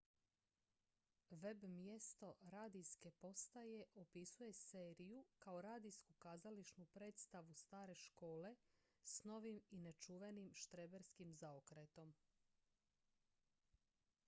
web-mjesto radijske postaje opisuje seriju kao radijsku kazališnu predstavu stare škole s novim i nečuvenim štreberskim zaokretom